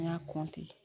An y'a